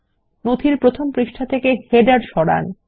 নথির প্রথম পৃষ্ঠা থেকে শিরোলেখ সরান